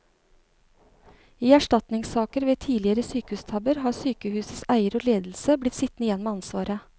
I erstatningssaker ved tidligere sykehustabber har sykehusets eier og ledelse blitt sittende igjen med ansvaret.